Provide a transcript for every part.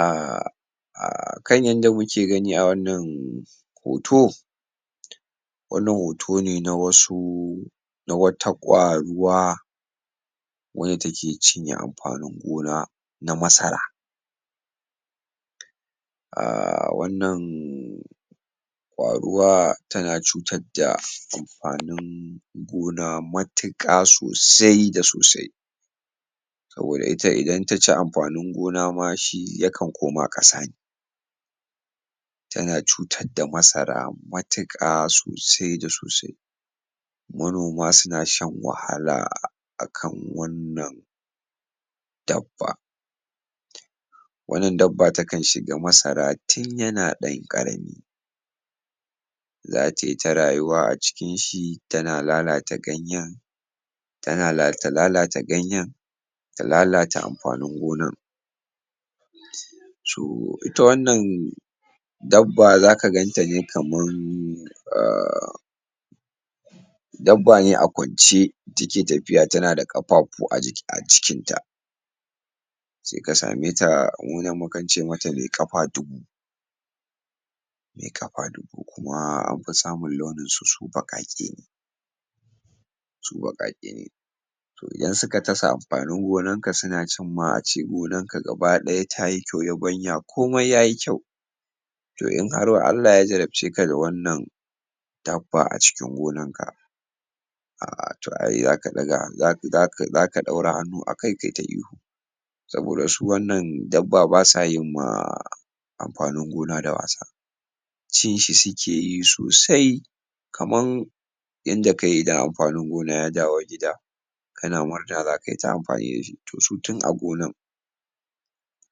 um um kan yadda muke gani a wannan hoto, wannan hoto ne na wasu, na wata kwaruwa wacce take cinye amfanin gona na masara. Um wannan kwaruwa tana cutar da amfanin gona matuƙa sosai da sosai wanda idan ta ci amfanin gona ma shi yakan koma kasa. Ne tana cutar da masara matuƙa sosai da sosai. Manoma suna shan wahala akan wannan dabba. Wannan dabba takan shiga masara tun yana ɗan ƙarami, za ta yi ta rayuwa a cikin shi tana lalata ganyen, tana ta lalata ganyen, ta lalata amfanin gonan. So it wannan dabba zaka ganta ne kamar um dabba ne a kwance take tafiya, tana da kafafu a ciki a jikin ta, sai ka sameta. Mu nan mukan ce mata “mai ƙafa dubu”, mai ƙafa dubu kuma ana fi samun launinsu su bakake, su bakake ne. Idan suka tatsa amfanin gonan ka, suna cin ma ace gonarka gaba ɗaya tayi kyau, yabanya komai yayi kyau, to in har Allah ya jarabce ka da wannan dabba a cikin gonarka to ai zaka ɗaga, za za za, zaka ɗaura hannu a kai ta ihu. Saboda shi wannan dabba basu yi ma um amfanin gona da wasa, cinshi suke yi sosai. Kamar inda ka yi da amfanin gona ya dawo gida kana murna zaka yi ta amfani da shi, to su tun a gona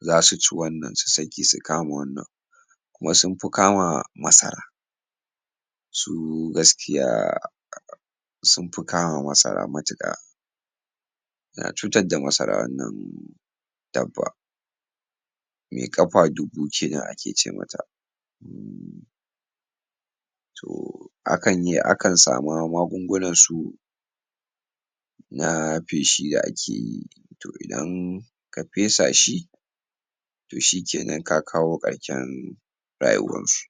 zasu wannan su sake su kamo wannan kuma sun fi kama masaran. So kunga gaskiya sun fi kama masara matuƙa, suna cutar da masara. Dabba mai ƙafa dubu kenan ake ce mata. Akan iya samun magungunan su na feshi da ake yi, to idan ka fesa shi to shikenan ka kawo ƙarshen rayuwarsu.